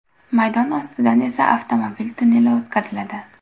Maydon ostidan esa avtomobil tunneli o‘tkaziladi.